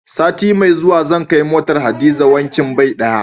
Sati mai zuwa zan kai motar Hadiza wankin bai ɗaya.